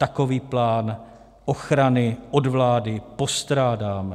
Takový plán ochrany od vlády postrádáme.